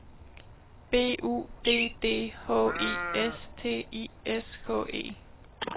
B U D D H I S T I S K E